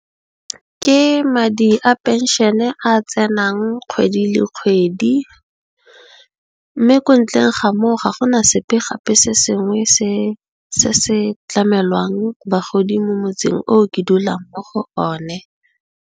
Ke madi a phenšene a a tsenang kgwedi le kgwedi mme, ko ntleng ga moo ga gona sepe gape se sengwe se se tlamelwang bagodi mo motseng o ke dulang mo go one.